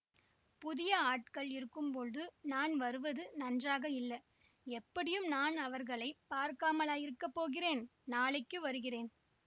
புதிய ஆட்கள் இருக்கும்பொழுது நான் வருவது நன்றாக இல்ல எப்படியும் நான் அவர்களை பார்க்காமலா இருக்க போகிறேன் நாளைக்கு வருகிறேன்